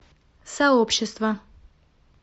сообщество